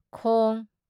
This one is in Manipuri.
ꯈꯣꯡ